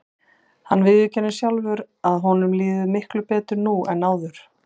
Hann viðurkennir sjálfur að honum líði miklu betur nú en áður.